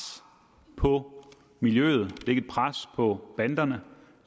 på miljøet lægge et pres på banderne